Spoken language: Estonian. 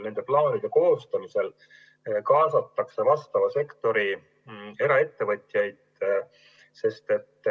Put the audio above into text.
Nende plaanide koostamisel kaasatakse konkreetse sektori eraettevõtjaid.